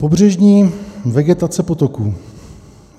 "Pobřežní vegetace potoků.